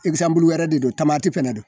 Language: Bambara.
wɛrɛ de don fɛnɛ don